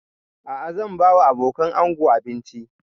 A'a zan ba wa abokanan ango abinci